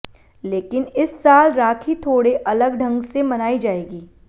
लेकिन इस साल राखी थोड़े अलग ढंग से मनाई जाएगी